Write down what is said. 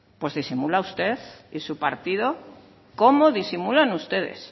pues disimula usted y su partido cómo disimulan ustedes